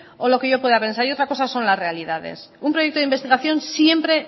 o lo que yo pueda pensar y otra cosa son las realidades un proyecto de investigación siempre